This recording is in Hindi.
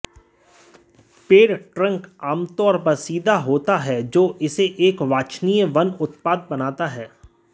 पेड़ ट्रंक आमतौर पर सीधे होता है जो इसे एक वांछनीय वन उत्पाद बनाता है